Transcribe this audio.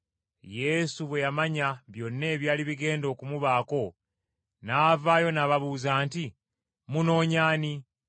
Yesu bwe yamanya byonna ebyali bigenda okumubaako, n’avaayo n’ababuuza nti, “Munoonya ani?”